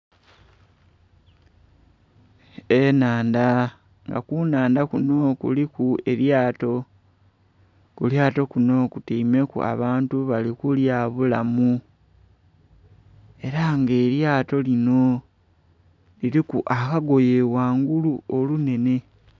Enhandha nga ku nhandha kunho kuliku elyato, kulyato kunho kutyaimeku abantu bali kulya bulamu era nga elyato linho liliku akagoye ghangulu olunenhe.